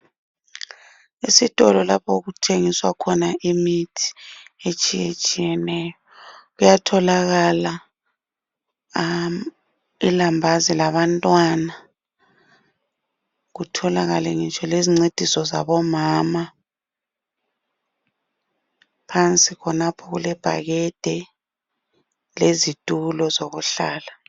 Esitolo lapho okuthengiswa khona imithi etshiyetshiyeneyo kuyatholaka ilambazi labantwana kutholakale ngitsho lezincediso zabomama phansi khonapho kulebhakede lezitulo zokuhlala.